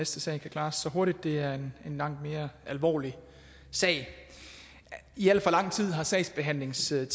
sag kan klares så hurtigt for det er en langt mere alvorlig sag i al for lang tid har sagsbehandlingstiden